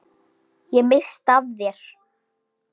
Ég missti af þér.